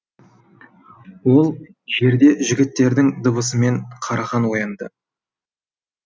ол жерде жігіттердің дыбысымен қарахан оянды